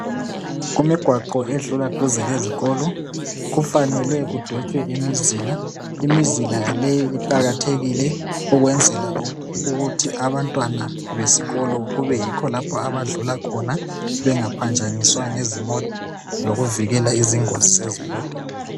Imigwaqo edlula duze lezikolo kufanele kudwetshwe imizila .Imizila leyi iqakakathekile ukwenzela ukuthi abantwana besikolo kubeyikho lapho abadlula khona bengaphanjaniswa ngezimota lokuvikela izingozi zezimota